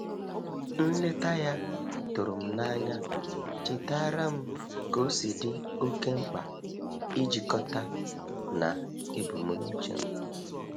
Nleta ya tụrụ m n'anya chetaara m ka-osi di oke mkpa ijikọta na ebumnuche m.